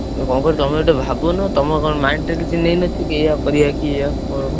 ତମେ କଣ କରିବ ତମେ ଭାବୁନ ତମେ mind ରେ କିଛି ନେଇ ନ ଥିବ କି ଏଇଆ କରିଆ ଏଇ ଏ ହବ।